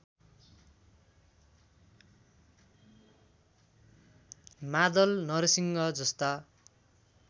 मादल नरसिंह जस्ता